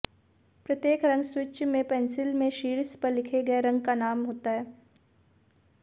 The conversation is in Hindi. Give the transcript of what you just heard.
प्रत्येक रंग स्विच में पेंसिल में शीर्ष पर लिखे गए रंग का नाम होता है